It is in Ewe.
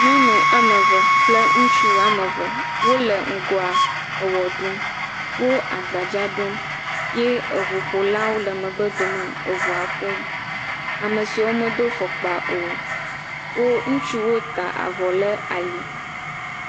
Nyɔnu ame eve kple ŋutsu ame eve. Wo le ŋgɔ eʋe ɖum. Wo agbadza ɖum ye eŋuƒola le megbdome eŋua ƒom. Ame siwo medo fɔkpa o. wo ŋutsuwo ta avɔ ɖe ali.